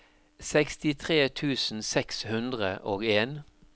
sekstitre tusen seks hundre og en